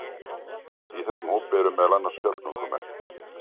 í þessum hópi eru meðal annars fjallgöngumenn